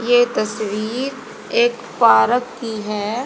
ये तस्वीर एक पारक की है।